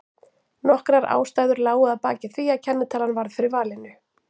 Nokkrar ástæður lágu að baki því að kennitalan varð fyrir valinu.